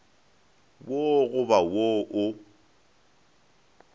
wo go ba wo o